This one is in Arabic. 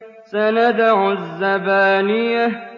سَنَدْعُ الزَّبَانِيَةَ